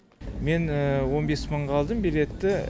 мен он бес мыңға алдым билетті